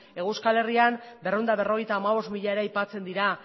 hego euskal herrian berrehun eta berrogeita hamabost mila ere aipatzen dira